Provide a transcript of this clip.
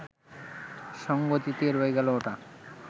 সঙ্গ দিতে রয়ে গেল ওটা